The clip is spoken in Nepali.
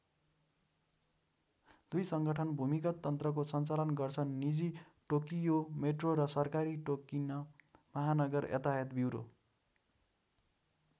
दुई संगठन भूमिगत तन्त्रको सञ्चालन गर्छन निजी टोकियो मेट्रो र सरकारी टोकिन महानगर यातायात ब्युरो।